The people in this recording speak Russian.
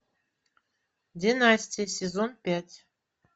династия сезон пять